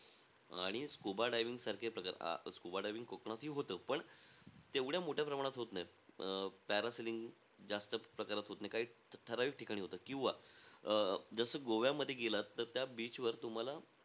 आणि scuba diving सारखे प्रकार. अं scuba diving कोकणातही होतं पण तेवढ्या मोठ्या प्रमाणात होत नाही. अं parasailing जास्त प्रकारात होत नाही, काही ठराविक ठिकाणी होतं. किंवा अं जसं गोव्यामध्ये गेलात तर त्या beach वर,